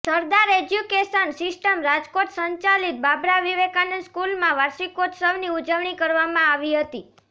સરદાર education system Rajkot સંચાલિત બાબરા વિવેકાનંદ સ્કૂલમાં વાર્ષિકોત્સવની ઉજવણી કરવામાં આવી હતી